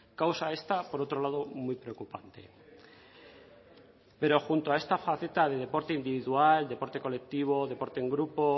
causa esta por otro lado muy preocupante pero junto a esta faceta de deporte individual deporte colectivo deporte en grupo